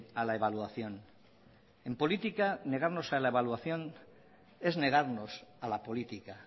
a la evaluación en política negarnos a la evaluación es negarnos a la política